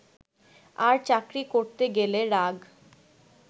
আর চাকরি করতে গেলে রাগ